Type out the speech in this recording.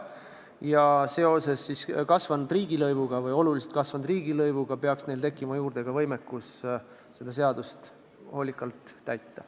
Ja tänu oluliselt kasvanud riigilõivule peaks neil tekkima juurde ka võimekust seda seadust hoolikalt täita.